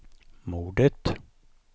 mordet